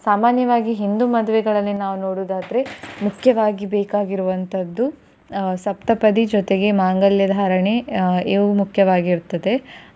ಸಾಮಾನ್ಯವಾಗಿ ಹಿಂದೂ ಮದುವೆಗಳಲ್ಲಿ ನಾವು ನೋಡೋದು ಆದ್ರೆ ಮುಖ್ಯವಾಗಿ ಬೇಕಾಗಿರುವಂತದ್ದು ಆ ಸಪ್ತಪದಿ ಜೊತೆಗೆ ಮಾಂಗಲ್ಯಧಾರಣೆ ಆ ಇವು ಮುಖ್ಯವಾಗಿರುತ್ತದೆ.